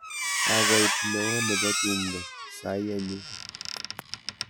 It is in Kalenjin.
Kakoit neo nebo tumdo saii anyun.